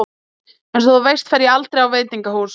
Einsog þú veist fer ég aldrei á veitingahús.